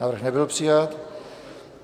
Návrh nebyl přijat.